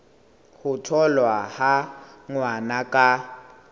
ho tholwa ha ngwana ka